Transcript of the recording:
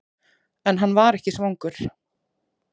En hann var ekki svangur.